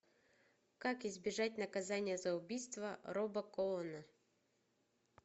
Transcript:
как избежать наказания за убийство роба коэна